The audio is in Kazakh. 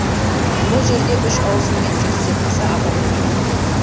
бұл жерде үш ауысыммен жеті жүзден аса адам еңбек етеді